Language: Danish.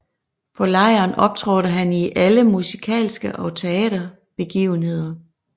På lejren optrådte han i alle musikalske og teater begivenheder